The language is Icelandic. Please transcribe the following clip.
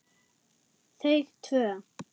Þau tvö.